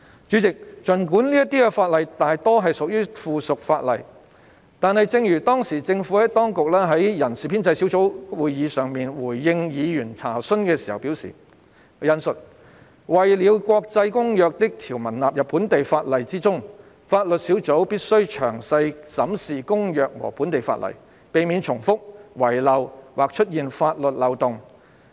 主席，儘管這些法例大多屬於附屬法例，但正如政府當局當時在人事編制小組委員會會議上回應議員查詢時表示，"為了將國際公約的條文納入本地法例之中，法律小組必須詳細審視公約和本地法例，避免重複、遺漏或出現法律漏洞。